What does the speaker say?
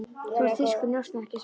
Þú ert þýskur njósnari, ekki satt?